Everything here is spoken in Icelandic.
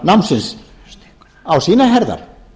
framhaldsskólanámsins á sínar herðar